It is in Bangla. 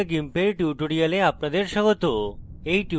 meet the gimp এর tutorial আপনাদের স্বাগত